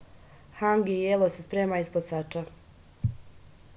hangi jelo se sprema ispod sača